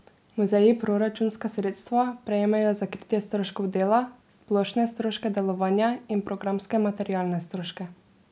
Muzeji proračunska sredstva prejmejo za kritje stroškov dela, splošne stroške delovanja in programske materialne stroške.